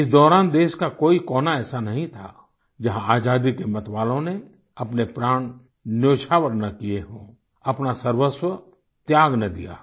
इस दौरान देश का कोई कोना ऐसा नहीं था जहाँ आजादी के मतवालों ने अपने प्राण न्योछावर न किये हों अपना सर्वस्व त्याग न दिया हो